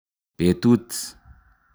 Betut